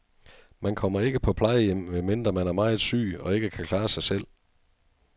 Man kommer ikke på plejehjem, medmindre man er meget syg og ikke kan klare sig selv.